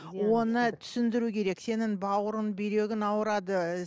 оны түсіндіру керек сенің бауырың бүйрегің ауырады